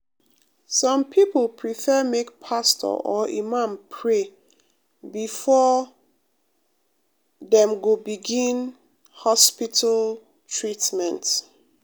some people prefer make pastor or imam pray before dem um go begin hospital um treatment.